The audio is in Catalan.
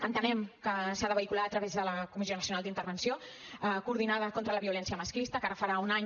entenem que s’ha de vehicular a través de la comissió nacional d’intervenció coordinada contra la violència masclista que ara farà un any